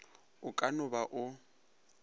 o ka no ba o